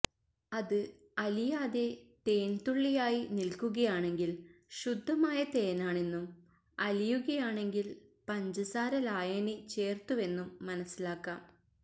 അത് അലിയാതെ തേൻതുള്ളിയായി നിൽക്കുകയാണെങ്കിൽ ശുദ്ധമായ തേനാണെന്നും അലിയുകയാണെങ്കിൽ പഞ്ചസാര ലായനി ചേർത്തുവെന്നും മനസ്സിലാക്കാം